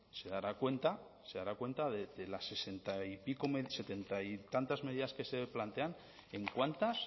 se dará cuenta de las setenta y tantas medidas que se plantean en cuántas